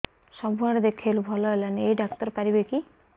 ସବୁଆଡେ ଦେଖେଇଲୁ ଭଲ ହେଲାନି ଏଇ ଡ଼ାକ୍ତର ପାରିବେ କି